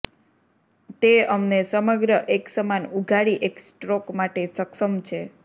તે અમને સમગ્ર એકસમાન ઉઘાડી એક સ્ટ્રોક માટે સક્ષમ છે